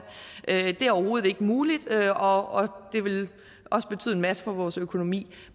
det er overhovedet ikke muligt og det ville også betyde en masse for vores økonomi